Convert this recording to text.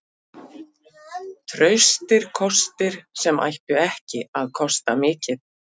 Traustir kostir sem ættu ekki að kosta mikið.